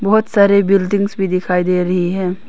बहुत सारे बिल्डिंग्स भी दिखाई दे रही है।